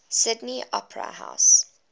sydney opera house